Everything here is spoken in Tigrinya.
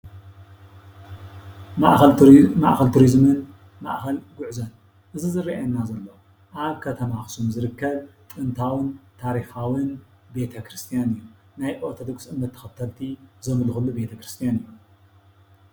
ማእኸል ቱሪዝምን ማእኸል ጎዕዞን እዙይ ዝርኣየና ዘሎ ኣብ ከተማ ኣክሱም ዝርከብ ጥንታዊን ታሪካዊን ቤተ ክርስትያን እዩ። ናይ ኦርቶዶክስ እምነት ተኸተልቲ ዘኣምልኹሉ ቤተ ክርስትያን እዩ።